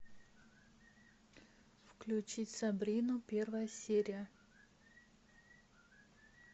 включить сабрину первая серия